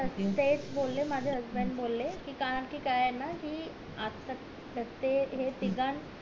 हो तेच बोले माझे husband बोले कि कारण कि काय ये ना कि ते हे तिघांन